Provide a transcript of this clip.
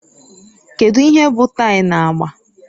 Kedu ihe bụ tie na agba